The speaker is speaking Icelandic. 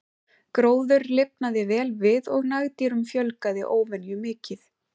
Gróður lifnaði vel við og nagdýrum fjölgaði óvenju mikið.